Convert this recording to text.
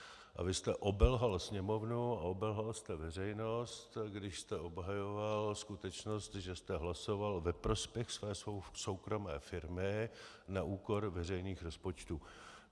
A vy jste obelhal Sněmovnu a obelhal jste veřejnost, když jste obhajoval skutečnost, že jste hlasoval ve prospěch své soukromé firmy na úkor veřejných rozpočtů.